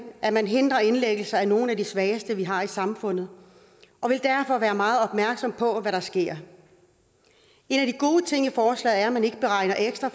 at man hindrer indlæggelser af nogle af de svageste vi har i samfundet og vil derfor være meget opmærksom på hvad der sker en af de gode ting i forslaget er at man ikke beregner ekstra